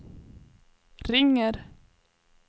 ringer